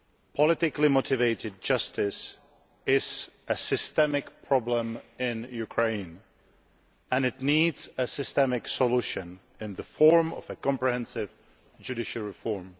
Politically motivated justice is a systemic problem in Ukraine, and it needs a systemic solution in the shape of comprehensive judicial reform.